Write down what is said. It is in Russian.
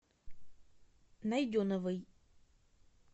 найденовой